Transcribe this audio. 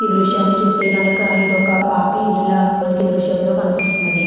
ఈ దృశ్యాన్ని చూస్తే గనక ఇదొక పాత ఇల్లులా మనకి దృశ్యంలో కనిపిస్తున్నది.